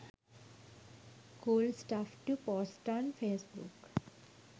cool stuff to post on facebook